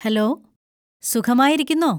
Hello, സുഖമായിരിക്കുന്നോ?